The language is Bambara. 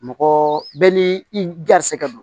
Mɔgɔ bɛɛ n'i garisɛgɛ don